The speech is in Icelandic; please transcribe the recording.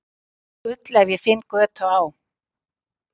Gull ef finn ég götu á